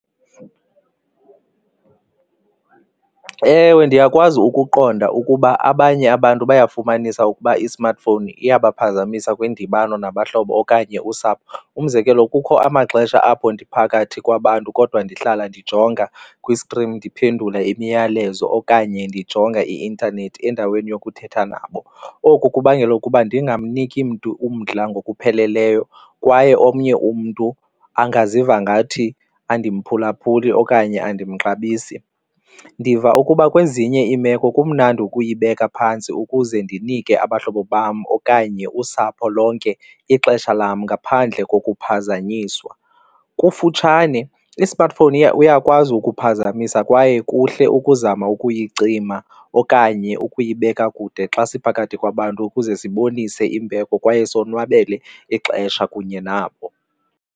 Ewe, ndiyakwazi ukuqonda ukuba abanye abantu bayafumanisa ukuba i-smartphone iyabaphazamisa kwindibano nabahlobo okanye usapho umzekelo kukho amaxesha apho ndiphakathi kwabantu kodwa ndihlala ndijonga kwi-screaen ndiphendula imiyalezo okanye ndijonga i-intanethi endaweni yokuthetha nabo. Oku kubangela ukuba ndingamniki mntu umdla ngokupheleleyo kwaye omnye umntu angaziva ngathi andimphulaphuli okanye andimxabisi. Ndiva ukuba kwezinye iimeko kumnandi ukuyibeka phantsi ukuze ndinike abahlobo bam okanye usapho lonke ixesha lam ngaphandle kokuphazanyiswa. Ngokufutshane i-smartphone uyakwazi ukuphazamisa kwaye kuhle ukuzama ukuyicima okanye ukuyibeka kude xa siphakathi kwabantu ukuze sibonise imbeko kwaye sozonwabele ixesha kunye nabo.